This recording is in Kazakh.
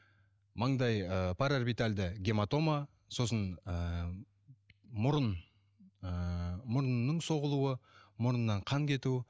маңдай ы параорбитальды гематома сосын ыыы мұрын ыыы мұрынның соғылуы мұрнынан қан кету